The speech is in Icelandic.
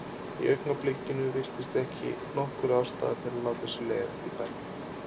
Í augnablikinu virtist ekki nokkur ástæða til að láta sér leiðast í bænum.